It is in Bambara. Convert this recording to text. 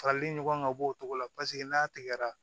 Farali ɲɔgɔn ka bɔ o cogo la paseke n'a tigɛra